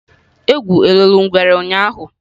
Egwu loro ngwere ụnyahụ?